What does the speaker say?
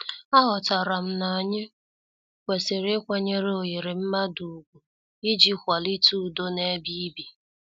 A ghotaram na-anyi kwesịrị ịkwanyere oghere mmadụ ugwu iji kwalite udo na-ebe ibi.